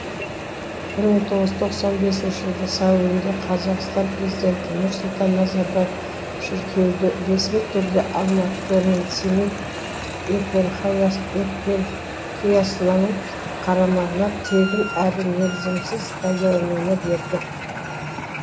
бір мың тоғыз жүз тоқсан бесінші жылдың сәуірінде қазақстан президенті нұрсұлтан назарбаев шіркеуді ресми түрде алматы мен семей еперхиясының қарамағына тегін әрі мерзімсіз пайдалануға берді